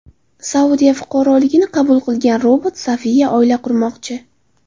Saudiya fuqaroligini qabul qilgan robot Sofiya oila qurmoqchi.